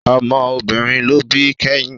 Ọmọ obìnrin ló bí kẹ́yìn